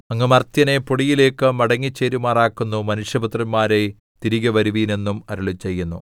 അങ്ങ് മർത്യനെ പൊടിയിലേക്ക് മടങ്ങിച്ചേരുമാറാക്കുന്നു മനുഷ്യപുത്രന്മാരേ തിരികെ വരുവിൻ എന്നും അരുളിച്ചെയ്യുന്നു